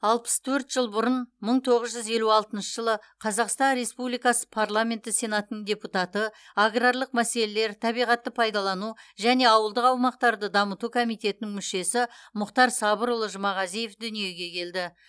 алпыс төрт жыл бұрын мың тоғыз жүз елу алтыншы жылы қазақстан республикасы парламенті сенатының депутаты аграрлық мәселелер табиғатты пайдалану және ауылдық аумақтарды дамыту комитетінің мүшесі мұхтар сабырұлы жұмағазиев дүниеге келді